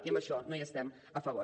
i d’això no hi estem favor